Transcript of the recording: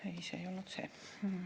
Ei, see ei olnud see.